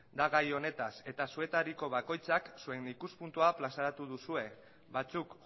da gai honetaz eta zuetariko bakoitzak zuen ikuspuntua plazaratu duzue batzuk